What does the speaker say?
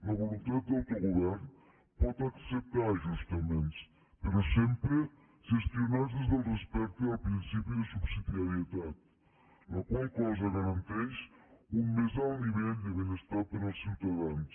la voluntat d’autogovern pot acceptar ajustaments però sempre gestionats des del respecte al principi de subsidiarietat la qual cosa garanteix un més alt nivell de benestar per als ciutadans